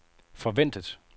forventet